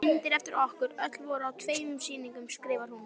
Myndir eftir okkur öll voru á tveimur sýningum skrifar hún.